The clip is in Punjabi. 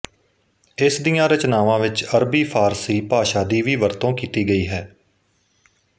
ਇਸ ਦੀਆਂ ਰਚਨਾਵਾਂ ਵਿੱਚ ਅਰਬੀਫ਼ਾਰਸੀ ਭਾਸ਼ਾ ਦੀ ਵੀ ਵਰਤੋਂ ਕੀਤੀ ਗਈ ਹੈ